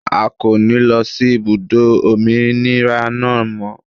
A kò ní lọ sí ibùdó òmìnira náà mọ́.